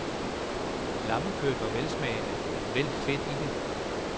Lammekødet var velsmagende, men vel fedt i det.